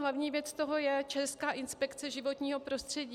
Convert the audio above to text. Hlavní věc toho je Česká inspekce životního prostředí.